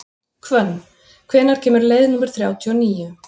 Hvönn, hvenær kemur leið númer þrjátíu og níu?